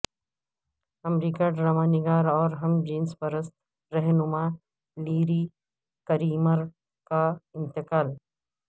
امریکی ڈرامہ نگار اور ہم جنس پرست رہنما لیری کریمر کا انتقال